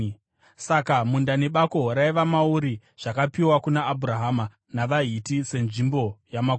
Saka munda nebako raiva mauri zvakapiwa kuna Abhurahama navaHiti senzvimbo yamakuva.